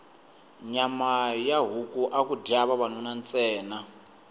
nyama ya huku aku dya vavanuna ntsena